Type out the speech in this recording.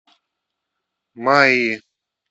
майи